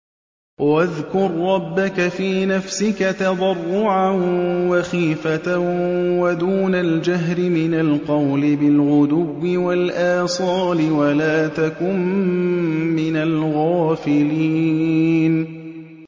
وَاذْكُر رَّبَّكَ فِي نَفْسِكَ تَضَرُّعًا وَخِيفَةً وَدُونَ الْجَهْرِ مِنَ الْقَوْلِ بِالْغُدُوِّ وَالْآصَالِ وَلَا تَكُن مِّنَ الْغَافِلِينَ